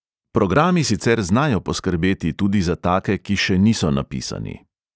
Programi sicer znajo poskrbeti tudi za take, ki še niso napisani.